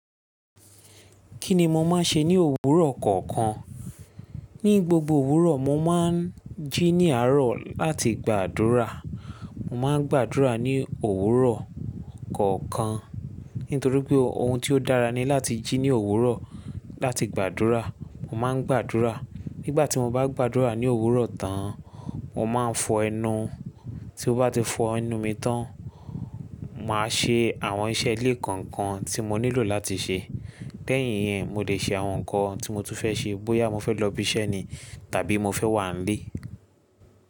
Kí ni mo máa ń ṣe ní òwúrọ̀ kọ̀ọ̀kan? Ní gbogbo òwúrọ̀, mo máa ń jí ní àárọ̀ láti gbàdúrà. Mo máa ń gbàdúrà ní òwúrọ̀ kọ̀ọ̀kan, nítorí pé ohun tí ó dára ni láti jí ní òwúrọ̀ láti gbàdúrà. Mo máa ń gbàdúrà. Nígbà tí mo bá gbàdúrà ní òwúrọ̀ tán, mo máa ń fọ ẹnu. Tí o bá ti fọ ẹnu mi tán, màá ṣe àwọn iṣẹ́ ilé kọ̀ọ̀kan tí mo nílò láti ṣe. Lẹ́yìn yẹn, mo lè ṣe àwọn nǹkan tí mo tún fẹ́ ṣe, bóyá mo fẹ́ lọ ibi iṣẹ́ ni tàbí mo fẹ́ wà ní ilé.